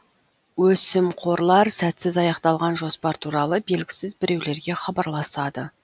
өсімқорлар сәтсіз аяқталған жоспар туралы белгісіз біреулерге хабарласады